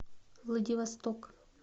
владивосток